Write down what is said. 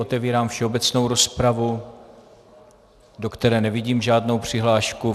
Otevírám všeobecnou rozpravu, do které nevidím žádnou přihlášku.